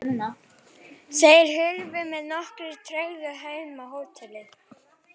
Þeir hurfu með nokkurri tregðu heim á hótelið.